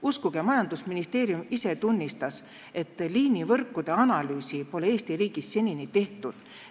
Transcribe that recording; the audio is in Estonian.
Uskuge, majandusministeerium ise tunnistas, et liinivõrkude analüüsi pole Eesti riigis senini tehtud.